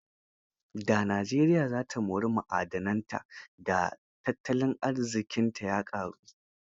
Da Najeriya za ta mori ma'adananta, da tattalin arziƙinta ya ƙaru.